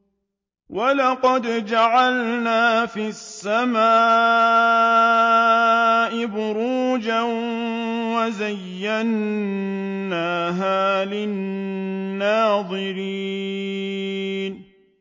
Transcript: وَلَقَدْ جَعَلْنَا فِي السَّمَاءِ بُرُوجًا وَزَيَّنَّاهَا لِلنَّاظِرِينَ